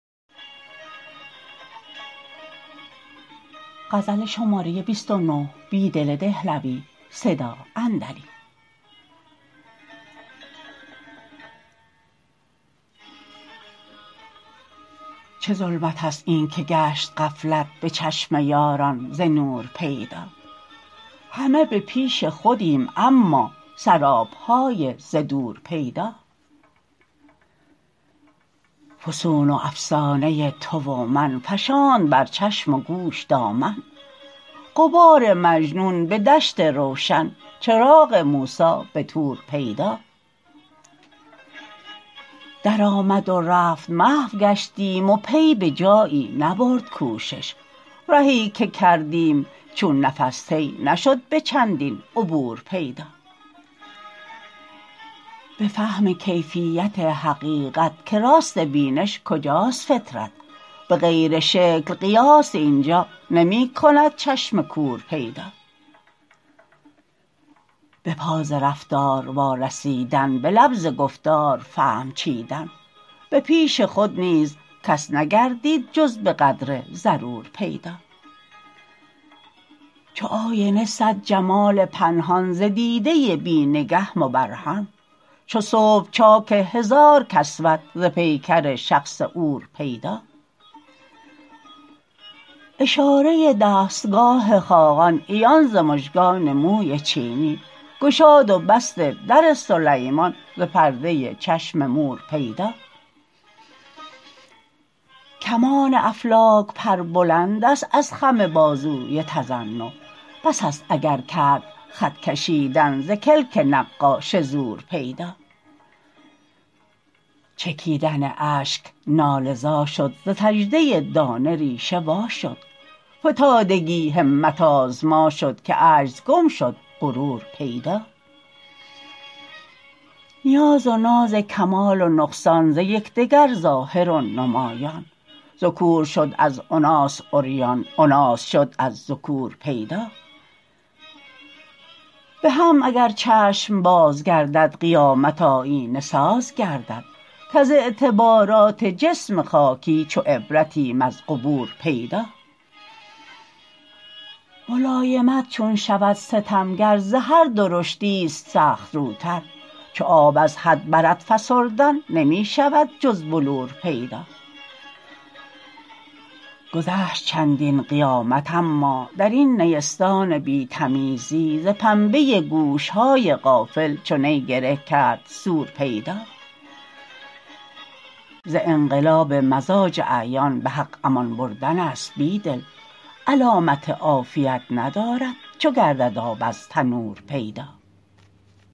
چه ظلمت است اینکه گشت غفلت به چشم یاران ز نور پیدا همه به پیش خودیم اما سراب های ز دور پیدا فسون و افسانه تو و من فشاند بر چشم و گوش دامن غبار مجنون به دشت روشن چراغ موسی به طور پیدا در آمد و رفت محو گشتیم و پی به جایی نبرد کوشش رهی که کردیم چون نفس طی نشد به چندین عبور پیدا به فهم کیفیت حقیقت که راست بینش کجاست فطرت به غیر شکل قیاس اینجا نمی کند چشم کور پیدا به پا ز رفتار وارسیدن به لب ز گفتار فهم چیدن به پیش خود نیز کس نگردید جز به قدر ضرور پیدا چو آینه صد جمال پنهان ز دیده بی نگه مبرهن چو صبح چاک هزار کسوت ز پیکر شخص عور پیدا اشاره دستگاه خاقان عیان ز مژگان موی چینی گشاد و بست در سلیمان ز پرده چشم مور پیدا کمان افلاک پر بلندست از خم بازوی تضنع بس است اگر کرد خط کشیدن ز کلک نقاش زور پیدا چکیدن اشک ناله زا شد ز سجده دانه ریشه واشد فتادگی همت آزما شد که عجز گم شد غرور پیدا نیاز و ناز کمال و نقصان ز یکدگر ظاهر و نمایان ذکور شد از اناث عریان اناث شد از ذکور پیدا به هم اگر چشم باز گردد قیامت آیینه ساز گردد کز اعتبارات جسم خاکی چو عبرتیم از قبور پیدا ملایمت چون شود ستمگر ز هر درشتی ست سخت روتر چو آب از حد برد فسردن نمی شود جز بلور پیدا گذشت چندین قیامت اما در این نیستان بی تمیزی ز پنبه گوش های غافل چو نی گره کرد صور پیدا ز انقلاب مزاج اعیان به حق امان بردن ست بیدل علامت عافیت ندارد چو گردد آب از تنور پیدا